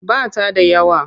Ba ta da yawa.